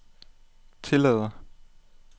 tillader